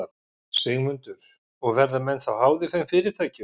Sigmundur: Og verða menn þá háðir þeim fyrirtækjum?